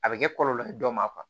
A bɛ kɛ kɔlɔlɔ ye dɔ ma